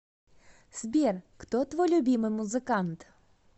сбер кто твой любимый музыкант